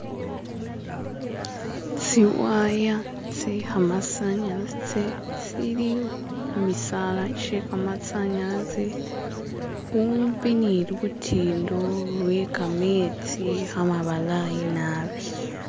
tsiwaya tse kamasanyalaze tsili khumisala kyekamasanyalaze khumbi ni lutindo lwe kametsi kamabalayi nabi.